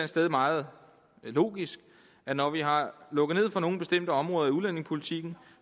sted meget logisk at når vi har lukket ned for nogle bestemte områder i udlændingepolitikken